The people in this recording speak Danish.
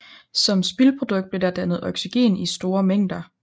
Som spildprodukt blev der dannet oxygen i store mængder